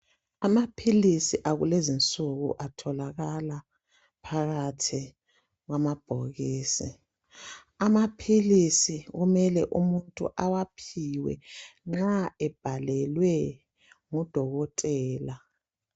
Amaphilisi akulezi insuku atholakala phakathi kwamabhokisi amaphilisi kumele umuntu awaphiwe nxa ebhalelwe ngudokotela.